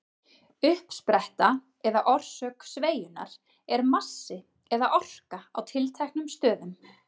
Uppspretta eða orsök sveigjunnar er massi eða orka á tilteknum stöðum.